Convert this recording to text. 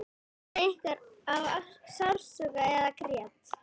Veinaði einhver af sársauka eða grét?